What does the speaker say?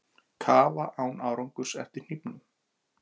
Kafa án árangurs eftir hnífnum